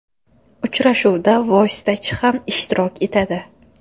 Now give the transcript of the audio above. Uchrashuvda vositachi ham ishtirok etadi.